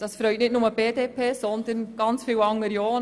Das freut nicht nur die BDP, sondern viele andere auch.